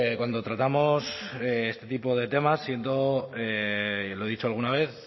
cuando tratamos este tipo de temas siento y lo he dicho alguna vez